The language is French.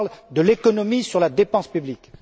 je parle de l'économie sur la dépense publique.